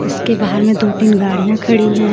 इसके बाहर में दो-तीन गाड़ियां खड़ी है.